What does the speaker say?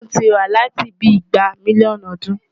Aáyán ti wà láti bíi igba mílíọ̀nù ọdún.